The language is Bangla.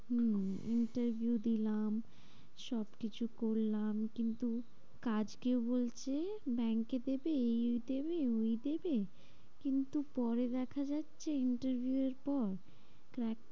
হম interview দিলাম, সবকিছু করলাম কিন্তু কাজ কেউ বলছে ব্যাঙ্কে দেবে এই দেবে ওই দেবে। কিন্তু পরে দেখা যাচ্ছে interview এর পর crack